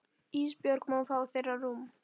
Ísbjörg má fá þeirra rúm.